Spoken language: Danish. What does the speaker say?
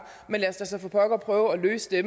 men lad os da så for pokker prøve at løse det